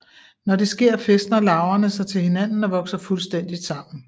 Når det sker fæstner larverne sig til hinanden og vokser fuldstændigt sammen